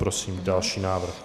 Prosím další návrh.